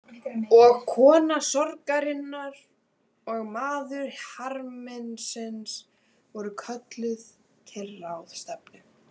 Og kona sorgarinnar og maður harmsins voru kölluð til ráðstefnu.